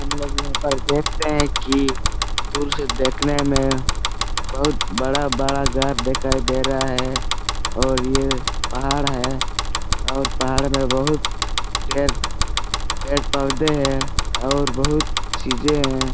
हम लोग यहां पर देखते है कि दूर से देखने में बहुत बड़ा - बड़ा घर दिखाई दे रहा है और यह पहाड़ है और पहाड़ में बहुत ढेर पेड़ पौधे हैं और बहुत चीजें हैं।